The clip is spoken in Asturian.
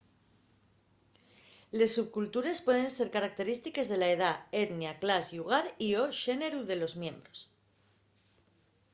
les subcultures pueden ser característiques de la edá etnia clas llugar y/o xéneru de los sos miembros